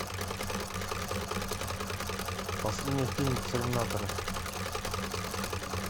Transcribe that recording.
последний фильм терминатора